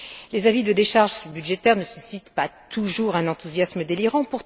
Les avis de décharge budgétaire ne suscitent pas toujours un enthousiasme délirant